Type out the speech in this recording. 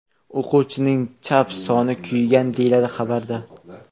O‘quvchining chap soni kuygan”, deyiladi xabarda.